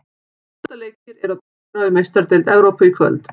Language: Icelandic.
Átta leikir eru á dagskrá í Meistaradeild Evrópu í kvöld.